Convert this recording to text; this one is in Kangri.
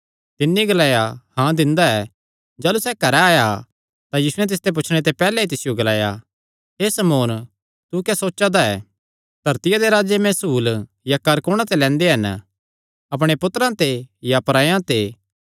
तिन्नी ग्लाया हाँ दिंदा ऐ जाह़लू सैह़ घरैं आया तां यीशुयैं तिसदे पुछणे ते पैहल्ले ई तिसियो ग्लाया हे शमौन तू क्या सोचा दा ऐ धरतिया दे राजे महसूल या कर कुणा ते लैंदे हन अपणे पुत्तरां ते या परायां ते